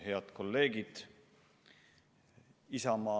Head kolleegid!